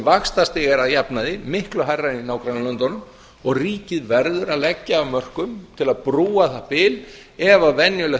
vaxtastig er að jafnaði miklu hærra en í nágrannalöndunum og ríkið verður að leggja af mörkum til að búa það bil ef venjulegt